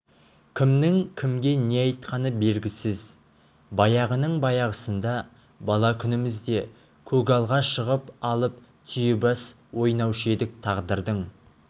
кімнің кімге не айтқаны белгісіз баяғының баяғысында бала күнімізде көгалға шығып алып түйебас ойнаушы едік тағдырдың